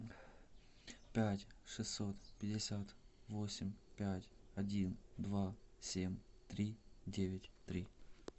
пять шестьсот пятьдесят восемь пять один два семь три девять три